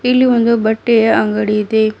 ಇಲ್ಲಿ ಒಂದು ಬಟ್ಟೆಯ ಅಂಗಡಿ ಇದೆ.